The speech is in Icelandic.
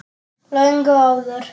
Löngu áður.